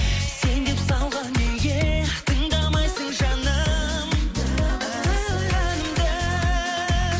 сен деп салған неге тыңдамайсың жаным әнімді